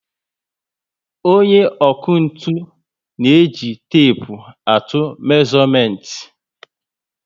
Onye ọkụ ntụ na eji tepu atụ mezuomenti